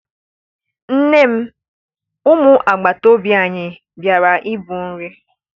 Nne m! umu agbata obi anyi bịara ibiri nri